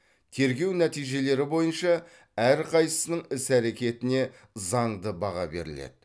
тергеу нәтижелері бойынша әрқайсысының іс әрекетіне заңды баға беріледі